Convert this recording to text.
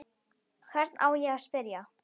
Hvern á ég að spyrja?